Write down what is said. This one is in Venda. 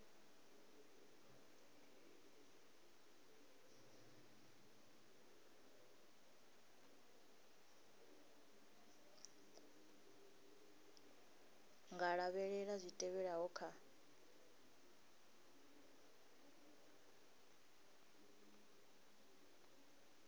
nga lavhelela zwi tevhelaho kha